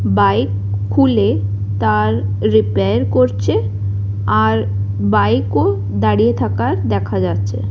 Bike খুলে তার repair করছে আর বাইক -ও দাঁড়িয়ে থাকা দেখা যাচ্ছে।